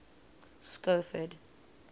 schofield